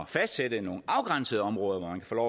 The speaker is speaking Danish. at fastsætte nogle afgrænsede områder hvor